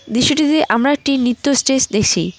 দৃশ্যটিতে আমরা একটি নৃত্য স্টেজ দেখছি।